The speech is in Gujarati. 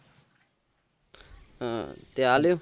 હમ તે આલ્યું